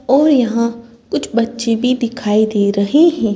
और यहां कुछ बच्चे भी दिखाई दे रहे है।